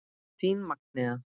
Þín Magnea.